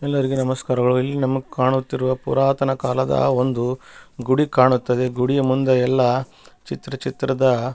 ಎಲ್ಲರಿಗೆ ನಮಸ್ಕಾರಗಳು ಇಲ್ಲಿ ನಮಗೆ ಕಾಣುತ್ತಿರುವ ಪುರಾತನ ಕಾಲದ ಒಂದು ಗುಡಿ ಕಾಣುತ್ತದೆ ಗುಡಿಯ ಮುಂದೆ ಎಲ್ಲ ಚಿತ್ರ ಚಿತ್ರದ --